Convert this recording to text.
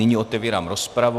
Nyní otevírám rozpravu.